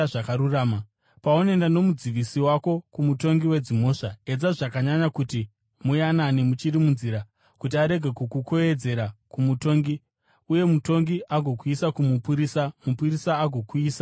Paunoenda nomudzivisi wako kumutongi wedzimhosva, edza zvakanyanya kuti muyanane muchiri munzira, kuti arege kukukwekweredzera kumutongi, uye mutongi agokuisa kumupurisa, mupurisa agokuisa mujeri.